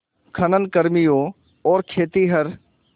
खनन कर्मियों और खेतिहर